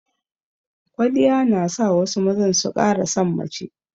Kwaliya na sa wasu mazan su ƙara san mace